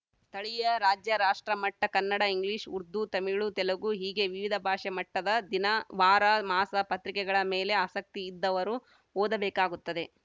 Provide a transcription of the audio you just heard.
ಸ್ಥಳಿಯ ರಾಜ್ಯ ರಾಷ್ಟ್ರ ಮಟ್ಟ ಕನ್ನಡ ಇಂಗ್ಲೀಷ್‌ ಉರ್ದು ತಮಿಳು ತೆಲುಗು ಹೀಗೆ ವಿವಿಧ ಭಾಷೆ ಮಟ್ಟದ ದಿನ ವಾರ ಮಾಸ ಪತ್ರಿಕೆಗಳ ಮೇಲೆ ಆಸಕ್ತಿ ಇದ್ದವರು ಓದ ಬೇಕಾಗುತ್ತದೆ